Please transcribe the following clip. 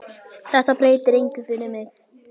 Þetta breytir engu fyrir mig.